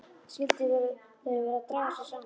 Skyldu þau vera að draga sig saman?